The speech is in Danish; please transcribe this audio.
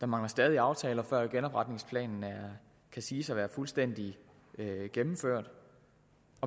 mangler stadig aftaler før genopretningsplanen kan siges at være fuldstændig gennemført